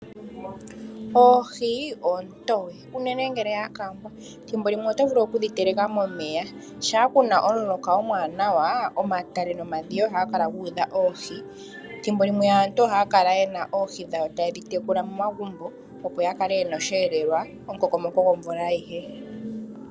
Oohi oontoye uunene ngele dha kangwa, thimbo limwe oto vulu okudhi teleka momeya. Shampa kuna omuloka omwaanawa omatale nomdhiya ohaga kal guudha oohi. Thimbo limwe aantu ohaya kala yena oohi dhawo taye dhi tekula momagumbo, opo ya kale yena osheelelwa momukoko mo ko gomvula ayihe.